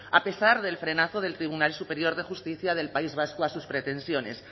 a pesar del frenazo del tribunal superior de justicia del país vasco a sus pretensiones